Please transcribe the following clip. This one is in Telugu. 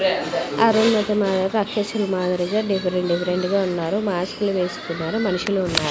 అరుంధతి మాదిరిగా రాక్షసుల మాదిరిగా డిఫరెంట్ డిఫరెంట్ గా ఉన్నారు మాస్కులు వేసుకున్నారు మనుషులు ఉన్నారు.